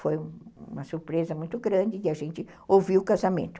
Foi uma surpresa muito grande de a gente ouvir o casamento.